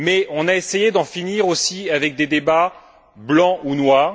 On a essayé d'en finir aussi avec des débats blancs ou noirs.